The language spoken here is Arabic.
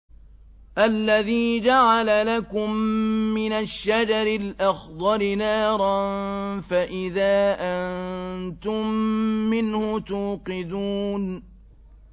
الَّذِي جَعَلَ لَكُم مِّنَ الشَّجَرِ الْأَخْضَرِ نَارًا فَإِذَا أَنتُم مِّنْهُ تُوقِدُونَ